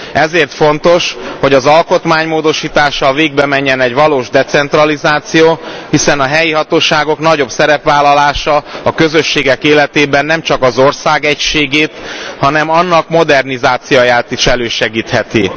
Ezért fontos, hogy az alkotmánymódosítással végbemenjen egy valós decentralizáció, hiszen a helyi hatóságok nagyobb szerepvállalása a közösségek életében nemcsak az ország egységét, hanem annak modernizációját is elősegítheti.